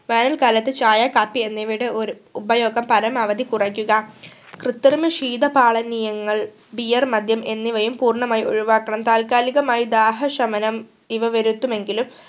വേനൽ കാലത്തു ചായ കാപ്പി എന്നിവയുടെ ഉര് ഉപയോഗം പരമാവധി കുറയ്ക്കുക. കൃത്രിമ ശീത പാലനീയങ്ങൾ beer മദ്യം എന്നിവയും പൂർണമായും ഒഴിവാക്കണം. താൽകാലികമായി ദാഹ ശമനം ഇവ വരുത്തുമെങ്കിലും